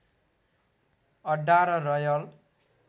अड्डा र रयल